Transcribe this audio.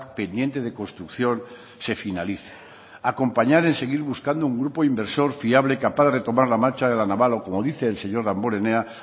pendiente de construcción se finalice acompañar en seguir buscando un grupo inversor fiable capaz de retomar la marcha de la naval o como dice el señor damborenea